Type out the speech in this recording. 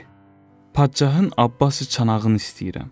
Dedi: Padşahın abbası çanağını istəyirəm.